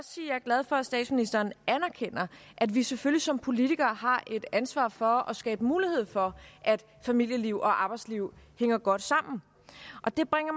glad for at statsministeren anerkender at vi selvfølgelig som politikere har et ansvar for at skabe mulighed for at familieliv og arbejdsliv hænger godt sammen og det bringer